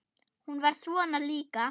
Hún var svona líka.